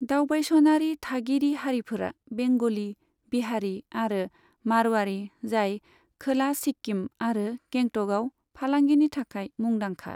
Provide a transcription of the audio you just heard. दावबायसनारि थागिरि हारिफोरा बेंगलि, बिहारी आरो मारवाड़ी, जाय खोला सिक्किम आरो गेंटकआव फालांगिनि थाखाय मुंदांखा।